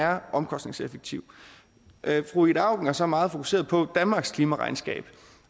er omkostningseffektiv fru ida auken er så meget fokuseret på danmarks klimaregnskab